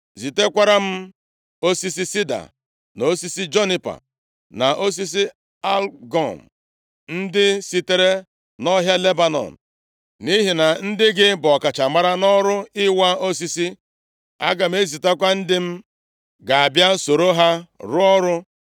“Zitekwara m osisi sida, na osisi junipa, na osisi algụm, ndị sitere nʼọhịa Lebanọn, nʼihi na ndị gị bụ ọkachamara nʼọrụ ịwa osisi. Aga m ezitekwa ndị m ga-abịa soro ha rụọ ọrụ,